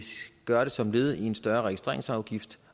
gøre det som led i en større omlægning af registreringsafgiften